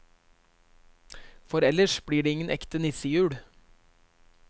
For ellers blir det ingen ekte nissejul.